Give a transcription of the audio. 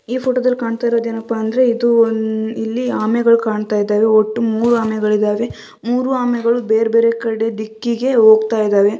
ಈ ಫೋಟೊ ದಲ್ ಕಾಣ್ತಾ ಇರೋದು ಏನಪ್ಪಾ ಅಂದ್ರೆ ಇದು ಒಂದ್ ಇಲ್ಲಿ ಆಮೆಗಳು ಕಾಣ್ತಾ ಇದ್ದಾವೆ ಒಟ್ಟು ಮೂರೂ ಆಮೆಗಳಿದಾವೆ ಮೂರೂ ಆಮೆಗಳು ಬೇರ್ ಬೇರೆ ಕಡೆ ದಿಕ್ಕಿಗೆ ಹೋಗ್ತಾ ಇದಾವೆ .